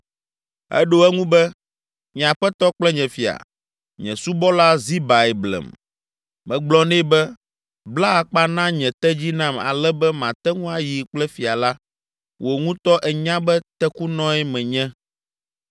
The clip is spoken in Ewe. Eɖo eŋu be, “Nye aƒetɔ kple nye fia, nye subɔla Zibae blem. Megblɔ nɛ be, bla akpa na nye tedzi nam ale be mate ŋu ayi kple fia la! Wò ŋutɔ ènya be tekunɔe menye.